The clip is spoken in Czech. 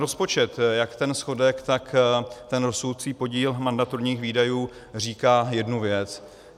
Rozpočet, jak ten schodek, tak ten rostoucí podíl mandatorních výdajů, říká jednu věc.